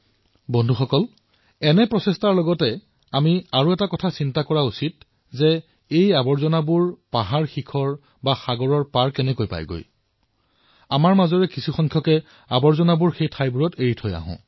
বন্ধুসকল এই প্ৰয়াসসমূহৰ মাজত আমি এয়াও চিন্তা কৰিব লাগে যে এই আৱৰ্জনাসমূহ সমুদ্ৰতীৰত পাহাৰত গৈ পায় কেনেকৈ অৰ্থাৎ আমাৰ মাজৰেই কিছুমান লোকে এই আৱৰ্জনা সেই ঠাইত এৰি আহে